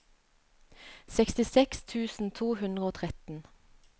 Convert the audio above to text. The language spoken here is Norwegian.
sekstiseks tusen to hundre og tretten